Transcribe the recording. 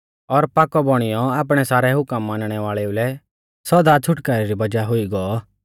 और पाकौ बौणीयौ आपणै सारै हुकम मानणै वाल़ेउ लै सौदा छ़ुटकारै री वज़ाह हुई गौ